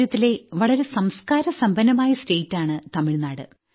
രാജ്യത്തിലെ വളരെ സംസ്ക്കാരസമ്പന്നമായ സ്റ്റേറ്റാണ് തമിഴ്നാട്